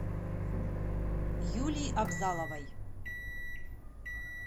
юлии абзаловой